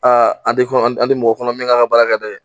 An di kɔnɔ, an di mɔgɔ min kan ka baara dɛ